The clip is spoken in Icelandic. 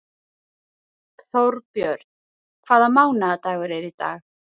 Þórbjörn, hvaða mánaðardagur er í dag?